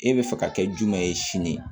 E bɛ fɛ ka kɛ jumɛn ye sini